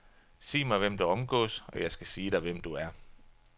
Sig mig hvem du omgås, og jeg skal sige dig, hvem du er.